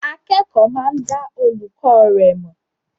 Akẹ́kọ̀ọ́ máa dá olùkọ́ rẹ̀ mọ̀.